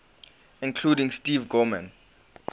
including steve gorman